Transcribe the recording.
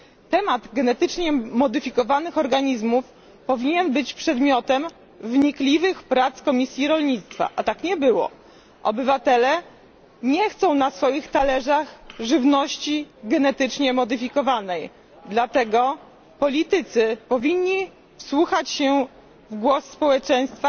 Temat genetycznie modyfikowanych organizmów powinien być przedmiotem wnikliwych prac Komisji Rolnictwa, a tak nie było. Obywatele nie chcą na swoich talerzach żywności genetycznie modyfikowanej, dlatego politycy powinni wsłuchać się w głos społeczeństwa